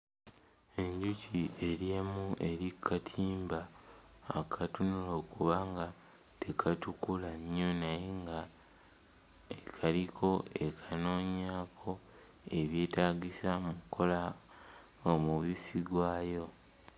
Enjuki eri emu eri ku katimba akatunula okuba nga tekatukula nnyo naye ng'ekaliko ekanoonyaako ebyetaagisa mu kkola omubisi gwayo.